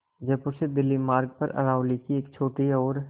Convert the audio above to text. जयपुर से दिल्ली मार्ग पर अरावली की एक छोटी और